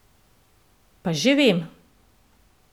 Pa že vem.